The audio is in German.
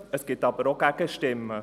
Es gibt aber auch Gegenstimmen.